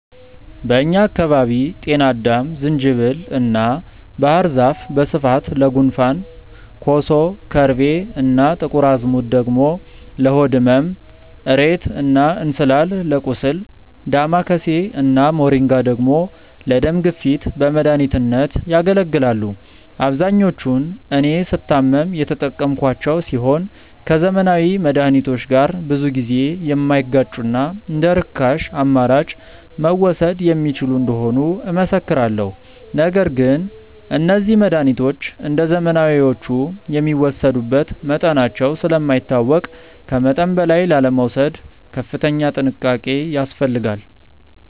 በእኛ አካባቢ ጤናአዳም፣ ዝንጅብል እና ባህር ዛፍ በስፋት ለጉንፋን፣ ኮሶ፣ ከርቤ እና ጥቁር አዝሙድ ደግሞ ለሆድ ህመም፣ እሬት እና እንስላል ለቁስል፣ ዳማከሴ እና ሞሪንጋ ደግሞ ለደም ግፊት በመድኃኒትነት ያገለግላሉ። አብዛኞቹን እኔ ስታመም የተጠቀምኳቸው ሲሆን ከዘመናዊ መድሃኒቶች ጋር ብዙ ጊዜ የማይጋጩና እንደርካሽ አማራጭ መወሰድ የሚችሉ እንደሆኑ እመሰክራለሁ። ነገር ግን እነዚህ መድሃኒቶች እንደዘመናዊዎቹ የሚወሰዱበት መጠናቸው ስለማይታወቅ ከመጠን በላይ ላለመውሰድ ከፍተኛ ጥንቃቄ ያስፈልጋል።